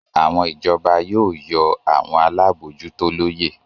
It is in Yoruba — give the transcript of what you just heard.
Àwọn ìjọba yóò yọ àwọn alábòójútó lóye